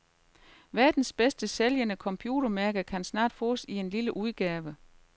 Verdens bedst sælgende computermærke kan snart fås i en lille udgave.